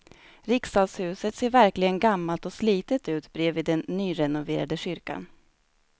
Riksdagshuset ser verkligen gammalt och slitet ut bredvid den nyrenoverade kyrkan.